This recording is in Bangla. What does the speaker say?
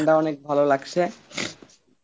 ঠান্ডা অনেক ভালো লাগছে